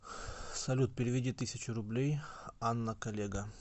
салют переведи тысячу рублей анна коллега